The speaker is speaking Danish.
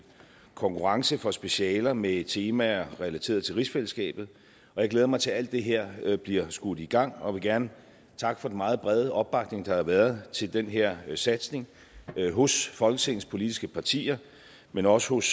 konkurrence for specialer med temaer relateret til rigsfællesskabet jeg glæder mig til at alt det her bliver skudt i gang og vil gerne takke for den meget brede opbakning der har været til den her satsning hos folketingets politiske partier men også hos